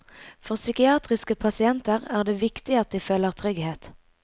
For psykiatriske pasienter er det viktig at de føler trygghet.